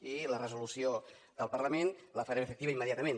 i la resolució del parlament la farem efectiva immediatament